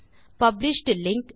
published link